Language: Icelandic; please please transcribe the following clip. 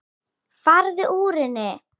Farðu úr henni.